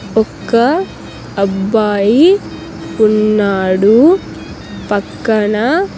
ఒక్క అబ్బాయి ఉన్నాడు పక్కన.